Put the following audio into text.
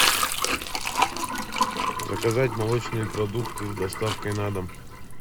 заказать молочные продукты с доставкой на дом